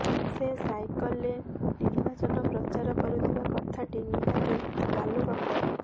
ସେ ସାଇକଲରେ ନିର୍ବାଚନ ପ୍ରଚାର କରୁଥିବା କଥା ଟି ନିହାତି ଗାଲୁଗପ